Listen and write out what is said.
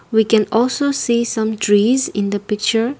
we can also see some trees in the picture.